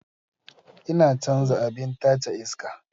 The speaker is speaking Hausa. Ina canza abin tace iska.